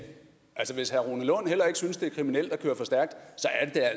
synes det er kriminelt at køre for stærkt